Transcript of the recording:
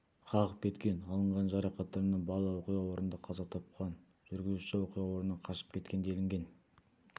қағып кеткен алынған жарақаттарынан бала оқиға орнында қаза тапқан жүргізуші оқиға орнынан қашып кеткен делінген